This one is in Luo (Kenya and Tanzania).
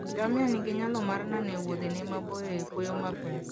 Ngamia nigi nyalo mar nano e Wuothene maboyo e kwoyo mapek.